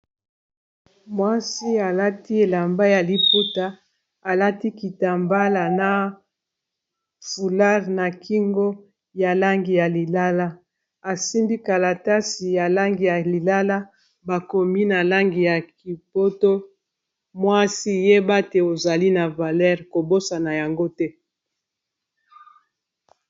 mwasi alati elamba ya liputa alati kitambala na fulare na kingo ya langi ya lilala asimdi kalatasi ya langi ya lilala bakomi na langi ya kipoto mwasi yeba te ozali na valer kobosana yango te